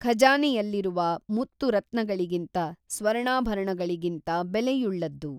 ಖಜಾನೆಯಲ್ಲಿರುವ ಮುತ್ತು ರತ್ನಗಳಿಗಿಂತ, ಸ್ವರ್ಣಾಭರಣಗಳಿಗಿಂತ ಬೆಲೆಯುಳ್ಳದ್ದು